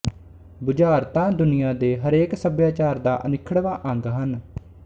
ਬੁਝਾਰਤਾਂ ਦੁਨੀਆ ਦੇ ਹਰੇਕ ਸੱਭਿਆਚਾਰ ਦਾ ਅਨਿੱਖੜਵਾਂ ਅੰਗ ਹਨ